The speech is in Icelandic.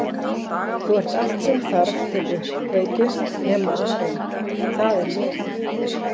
Þú ert allt sem þarf til uppkveikju nema arinn það er ég